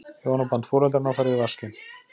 Hjónaband foreldranna farið í vaskinn.